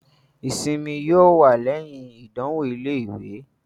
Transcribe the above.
ìsimi yóò wà lẹyìn ìdánwò ilé-ìwé.